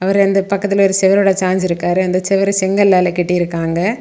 அவரு அந்த பக்கத்துல ஒரு செவரோடு சாய்ஞ்சு இருக்காரு. அந்த செவரு செங்கலால கட்டிருக்காங்க.